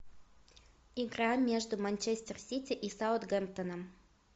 игра между манчестер сити и саутгемптоном